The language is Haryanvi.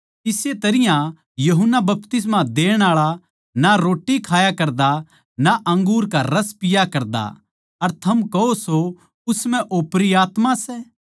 इस्से तरियां यूहन्ना बपतिस्मा देण आळा ना रोट्टी खाया करता अर ना अंगूर का रस पिया करता अर थम कहो सो उस म्ह ओपरी आत्मा सै